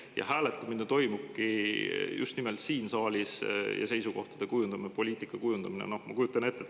Ja hääletamine ja seisukohtade kujundamine, poliitika kujundamine toimubki just nimelt siin saalis.